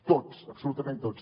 tots absolutament tots